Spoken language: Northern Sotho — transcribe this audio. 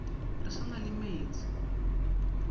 re sa na le metse